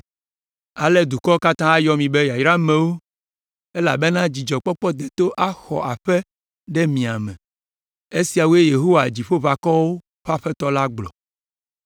“Ale dukɔwo katã ayɔ mi be yayramewo elabena dzidzɔkpɔkpɔ deto axɔ aƒe ɖe mia me.” Esiawoe Yehowa Dziƒoʋakɔwo ƒe Aƒetɔ la gblɔ.